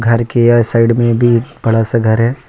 घर के यह साइड में भी एक बड़ा सा घर है।